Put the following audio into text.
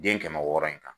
Den kɛmɛ wɔɔrɔ in kan